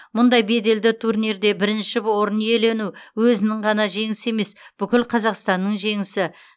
мұндай беделді турнирде бірінші орын иелену өзінің ғана жеңісі емес бүкіл қазақстанның жеңісі